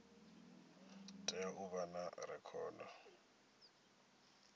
tea u vha na rekhodo